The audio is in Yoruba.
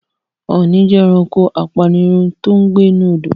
Ọ̀ọni jẹ́ ẹranko apanirun tòun gbé nínú Odò.